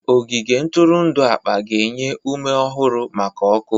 Ogige ntụrụndụ akpa ga-enye ume ọhụrụ maka ọkụ.